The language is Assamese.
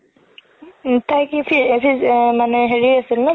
উম তাই কি মানে হেৰি আছিল ন